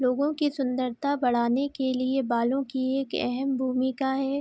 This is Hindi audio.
लोगो की सुंदरता बढ़ाने के लिए बालों की एक एहम भूमिका है।